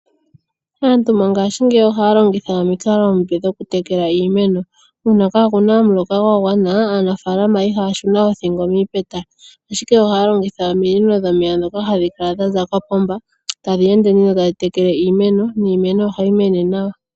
Aantu mongaashingeyi oha ya longitha omikalo omipe dhoku tekela iimeno. Uuna kaakuna omuloka gwa gwana, aanafaalama iha ya shuna oothingo miipeta. Ashike oha ya longitha ominino dhomeya ndhoka ha dhi kala dhaza kopomba ta dhi ende nduno tadhi tekele iimeno, niimeno oha yi mene nawa.